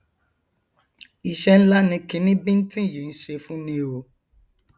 iṣẹ ńlá ni kiní bíntín yìí ń ṣe fúni o